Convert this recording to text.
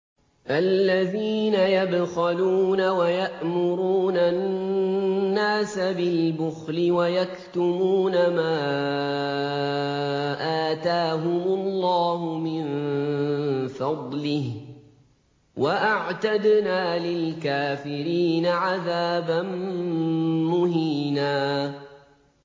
الَّذِينَ يَبْخَلُونَ وَيَأْمُرُونَ النَّاسَ بِالْبُخْلِ وَيَكْتُمُونَ مَا آتَاهُمُ اللَّهُ مِن فَضْلِهِ ۗ وَأَعْتَدْنَا لِلْكَافِرِينَ عَذَابًا مُّهِينًا